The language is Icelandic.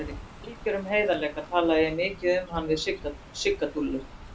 Í algjörum heiðarleika talaði ég mikið um hann við Sigga Dúllu.